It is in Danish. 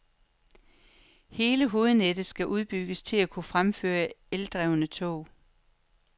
Hele hovednettet skal udbygges til at kunne fremføre eldrevne tog.